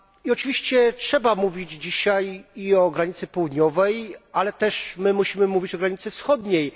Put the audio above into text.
Oczywiście trzeba mówić dzisiaj i o granicy południowej, ale też my musimy mówić o granicy wschodniej.